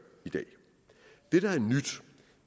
i dag